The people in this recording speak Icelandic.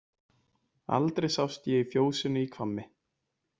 Aldrei sást ég í fjósinu í Hvammi.